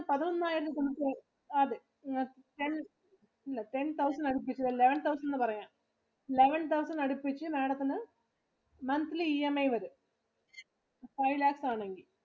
പതിനൊന്നായിരത്തി something ആ അതെ. ten അല്ല ten thousand അടുപ്പിച്ചു വരും. eleven thousand എന്ന് പറയാം. Eleven thousand അടുപ്പിച്ചു Madam ത്തിനു monthly EMI വരും. five lakhs ആണെങ്കിൽ.